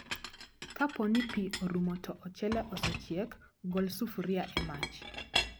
Kaponi pii orumo to ochele osechiek, gol sufria e mach